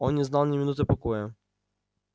он не знал ни минуты покоя